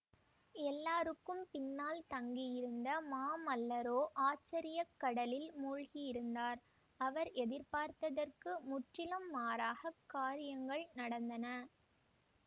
எல்லாருக்கும் பின்னால் தங்கியிருந்த மாமல்லரோ ஆச்சரியக் கடலில் மூழ்கியிருந்தார் அவர் எதிர்பார்த்ததற்கு முற்றிலும் மாறாகக் காரியங்கள் நடந்தன